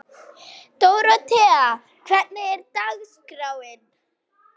Dóróthea, hvernig er dagskráin?